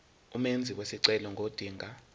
umenzi wesicelo ngodinga